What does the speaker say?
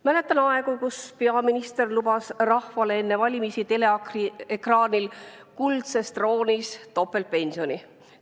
Mäletan aegu, kui peaminister oli enne valimisi teleekraanil kuldsel troonil ja lubas rahvale topeltpensioni.